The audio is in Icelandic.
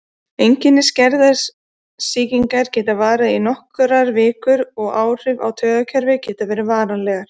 Einkenni skæðrar sýkingar geta varað í nokkrar vikur og áhrif á taugakerfið geta verið varanleg.